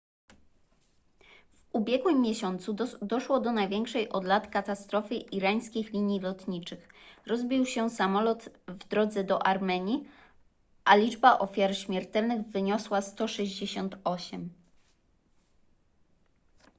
w ubiegłym miesiącu doszło do największej od lat katastrofy irańskich linii lotniczych rozbił się samolot w drodze do armenii a liczba ofiar śmiertelnych wyniosła 168